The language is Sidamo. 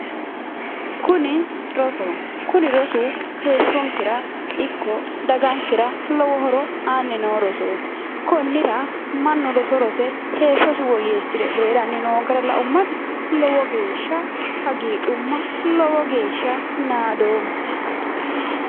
Kuni rosoho kuni rosu heeshshonkera ikko dagankera lowo aanni noo rosooti konnira mannu roso rose heeshshosi woyyeessiranni noo gara laummati lowo geeshsha hagiidhumma lowo geeshsha nadoomma